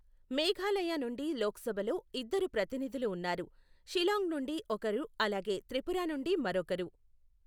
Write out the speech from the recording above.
మేఘాలయ నుండి లోక్సభలో ఇద్దరు ప్రతినిధులు ఉన్నారు, షిలాంగ్ నుండి ఒకరు అలాగే త్రిపురా నుండి మరొకరు.